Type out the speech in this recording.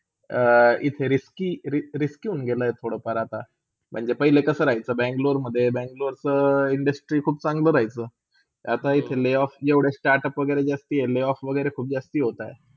इथे risky-risky होन गेला आहे थोडा फार आता म्हणजे पहिले कसा राहीचा Bangalore मधे, ब Bangalore च्या industry खूप चंगला रहायचा. आता layoff startup जास्ता layoff खूप जास्ता होतात.